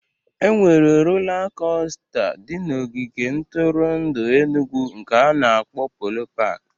E nwere rola costa di na ogige ntụrụndụ Enugwu nke ana-akpọ Polo paki